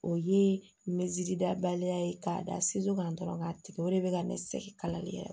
O ye mɛsi dabaliya ye k'a da segu ka dɔrɔn ka tigɛ o de bɛ ka ne sɛgɛn kalali yɛrɛ